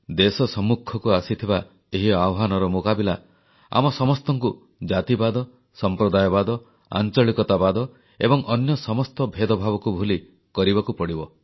ଦେଶ ସମ୍ମୁଖକୁ ଆସିଥିବା ଏହି ଆହ୍ୱାନର ମୁକାବିଲା ଆମ ସମସ୍ତଙ୍କୁ ଜାତିବାଦ ସମ୍ପ୍ରଦାୟବାଦ ଆଂଚଳିକତାବାଦ ଏବଂ ଅନ୍ୟ ସମସ୍ତ ଭେଦଭାବକୁ ଭୁଲି କରିବାକୁ ପଡ଼ିବ